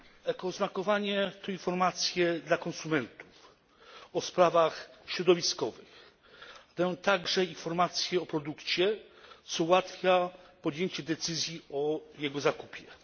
Eko oznakowanie to informacje dla konsumentów o sprawach środowiskowych, w tym także informacje o produkcie, co ułatwia podjęcie decyzji o jego zakupie.